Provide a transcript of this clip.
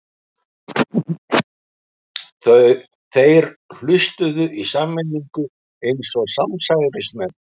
Þeir hlustuðu í sameiningu eins og samsærismenn.